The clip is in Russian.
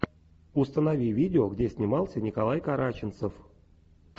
установи видео где снимался николай караченцев